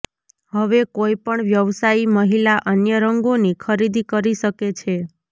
હવે કોઈ પણ વ્યવસાયી મહિલા અન્ય રંગોની ખરીદી કરી શકે છે